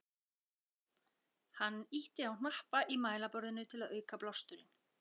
Hann ýtti á hnappa í mælaborðinu til að auka blásturinn.